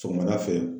Sɔgɔmada fɛ